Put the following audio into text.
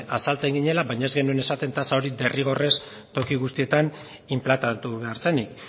azaltzen ginela baina ez genuen esaten tasa hori derrigorrez toki guztietan inplantatu behar zenik